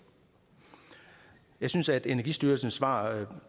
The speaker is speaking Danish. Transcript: jeg synes at energistyrelsens svar